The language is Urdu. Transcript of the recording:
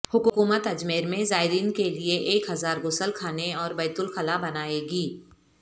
حکومت اجمیر میں زائرین کے لئے ایک ہزار غسل خانے اور بیت الخلا بنائے گی